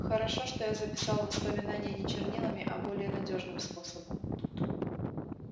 хорошо что я записал воспоминания не чернилами а более надёжным способом